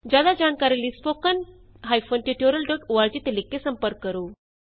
ਜਿਆਦਾ ਜਾਣਕਾਰੀ ਲਈ spoken hyphen tutorial dot org ਤੇ ਲਿਖ ਕੇ ਸੰਪਰਕ ਕਰੋ